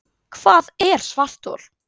Hvað er svarthol?